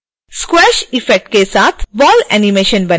squash effect के साथ ball animation बनाना